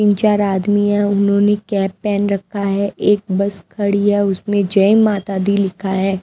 तीन चार आदमी हैं उन्होंने कैप पहन रखा है एक बस खड़ी है उसमें जय माता दी लिखा है।